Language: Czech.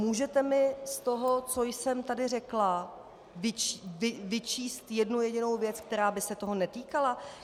Můžete mi z toho, co jsem tady řekla, vyčíst jednu jedinou věc, která by se toho netýkala?